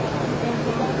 Doqquz min.